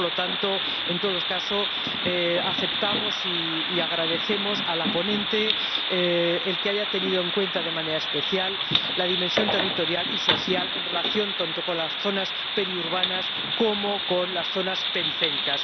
Por lo tanto, en todo caso, agradecemos a la ponente que haya tenido en cuenta de manera especial la dimensión territorial y social en relación tanto con las zonas periurbanas como con las zonas periféricas.